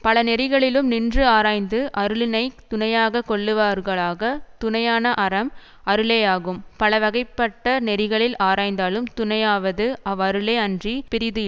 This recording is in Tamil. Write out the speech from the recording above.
பல நெறிகளிலும் நின்று ஆராய்ந்து அருளினைத் துணையாக கொள்ளுவார்களாக துணையான அறம் அருளேயாகும் பல வகைப்பட்ட நெறிகளில் ஆராய்ந்தாலும் துணையாவது அவ்வருளே அன்றி பிறிது இல்